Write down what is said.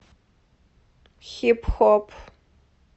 хип хоп